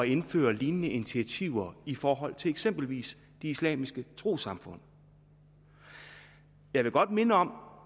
indføre lignende initiativer i forhold til eksempelvis de islamiske trossamfund jeg vil godt minde om